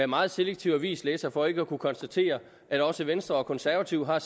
meget selektiv avislæser for ikke at kunne konstatere at også venstre og konservative har